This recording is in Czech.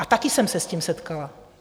A také jsem se s tím setkala.